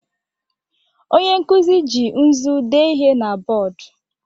Onye nkuzi ji nzu dee ihe na bọọdụ.